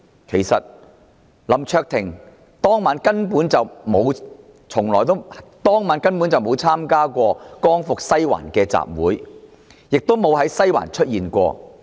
其實，林卓廷議員當晚根本沒有參加"光復西環"的集會，亦不曾在西環出現。